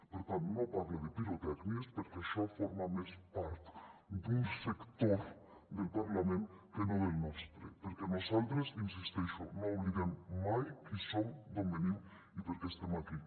per tant no parle de pirotècnies perquè això forma més part d’un sector del parlament que no del nostre perquè nosaltres hi insisteixo no oblidem mai qui som d’on venim i per què estem aquí